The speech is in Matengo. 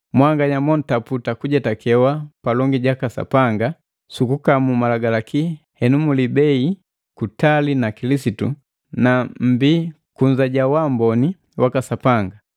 Mwanganya montaputa kujetakewa palongi jaka Sapanga sukukamu malagalaki henu mulibei kutali na Kilisitu na mmbii kunza ja wamboni waka Sapanga.